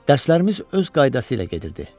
Dərslərimiz öz qaydası ilə gedirdi.